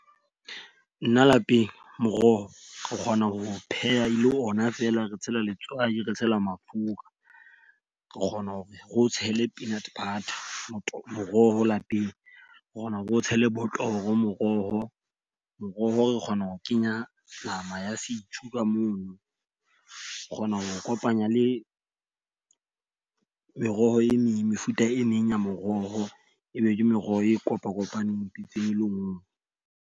Nna lapeng moroho, o kgona ho o pheha ele ona feela re tshela letswai, re tshela mafura, re kgona hore re o tshele peanut butter motoho moroho lapeng. O kgona ho re o tshele botoro moroho. Moroho re kgona ho kenya nama ya setjhu ka mono. O kgona ho kopanya le meroho e meng mefuta e meng ya moroho e be ke meroho e kopakopaneng pitseng e le nngwe.